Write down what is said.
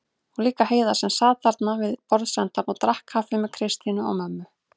Og líka Heiða sem sat þarna við borðsendann og drakk kaffi með Kristínu og mömmu.